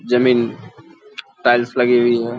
जमीन टाइल्स लगी हुई हैं।